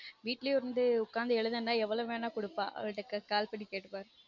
வீட்லயே இருந்து உக்காந்து எழுதணும்னா எவ்ளோ வேணா குடுப்பா அவள்ட்ட call பண்ணி கேட்டுப்பாருங்க